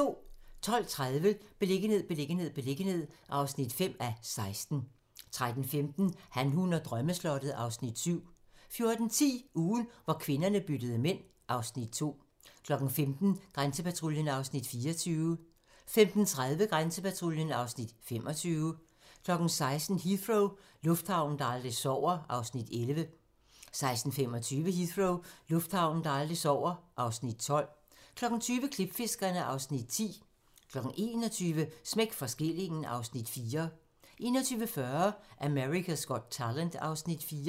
12:30: Beliggenhed, beliggenhed, beliggenhed (5:16) 13:15: Han, hun og drømmeslottet (Afs. 7) 14:10: Ugen, hvor kvinderne byttede mænd (Afs. 2) 15:00: Grænsepatruljen (Afs. 24) 15:30: Grænsepatruljen (Afs. 25) 16:00: Heathrow - lufthavnen, der aldrig sover (Afs. 11) 16:25: Heathrow - lufthavnen, der aldrig sover (Afs. 12) 20:00: Klipfiskerne (Afs. 10) 21:00: Smæk for skillingen (Afs. 4) 21:40: America's Got Talent (Afs. 4)